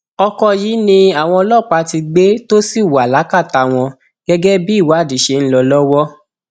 ọkọ yìí ni àwọn ọlọpàá ti gbé tó sì wà lákàtà wọn gẹgẹ bí ìwádìí ṣe ń lọ lọwọ